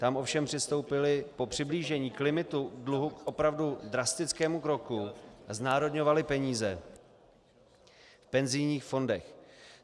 Tam ovšem přistoupili po přiblížení k limitu dluhu k opravdu drastickému kroku a znárodňovali peníze v penzijních fondech.